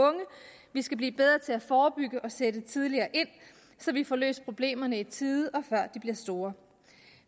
vi skal blive bedre til at forebygge og sætte tidligere ind så vi får løst problemerne i tide og før de bliver store